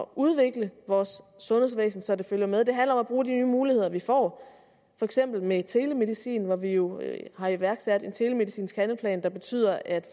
udvikle vores sundhedsvæsen så det følger med det handler om at bruge de nye muligheder vi får for eksempel med telemedicin hvor vi jo har iværksat en telemedicinsk handleplan der betyder at